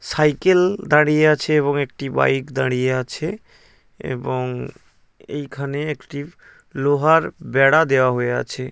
Cycle দাঁড়িয়ে আছে এবং একটি বাইক দাঁড়িয়ে আছে। এবং এইখানে একটি লোহার বেড়া দেওয়া হয়ে আছে।